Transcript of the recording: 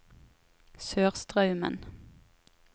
Sørstraumen